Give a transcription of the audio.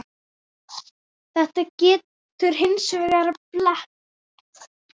Þetta getur hins vegar blekkt.